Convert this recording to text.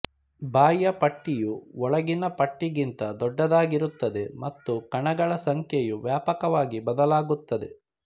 ಬಾಹ್ಯ ಪಟ್ಟಿಯು ಒಳಗಿನ ಪಟ್ಟಿಗಿಂತ ದೊಡ್ಡದಾಗಿರುತ್ತದೆ ಮತ್ತು ಕಣಗಳ ಸಂಖ್ಯೆಯು ವ್ಯಾಪಕವಾಗಿ ಬದಲಾಗುತ್ತದೆ